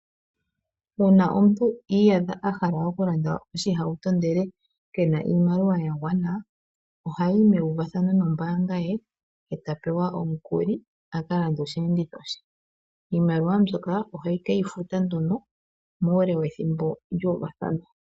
Uuna omuntu iiyadha ahala okulanda oshihauto ndele kena iimaliwa yagwana, ohayi meuvathano nombaanga ye eta pewa omukuli akalande oshiyenditho she iimaliwa mbyoka oheke yi futa nduno muule wethimbo lyuuvathanwa.